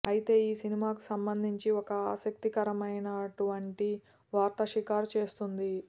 అయితే ఈ సినిమాకు సంబంధించి ఒక ఆసక్తికరమైనటువంటి వార్త షికారు చేస్తోంది